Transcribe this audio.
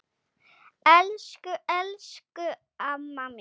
Elsku, elsku amma mín.